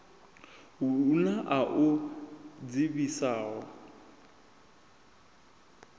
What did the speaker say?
hu na a u dzivhisaho